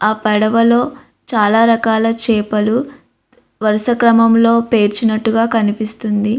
ఆ పడవలో చాలా రకాల చేపలు వరుస క్రమంలో పేర్చినట్టు గా కనిపిస్తుంది.